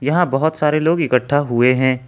यहां बहुत सारे लोग इकट्ठा हुए हैं।